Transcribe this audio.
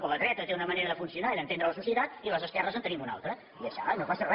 però la dreta té una manera de funcionar i d’entendre la societat i les esquerres en tenim una altra i ja està i no passa re